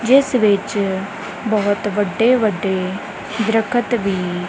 ਜਿੱਸ ਵਿੱਚ ਬਹੁਤ ਵੱਡੇ-ਵੱਡੇ ਦਰਖਤ ਵੀ --